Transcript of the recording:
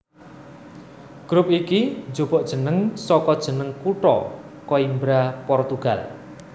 Grup iki njupuk jeneng saka jeneng kutha Coimbra Portugal